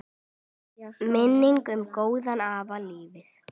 Minning um góðan afa lifir.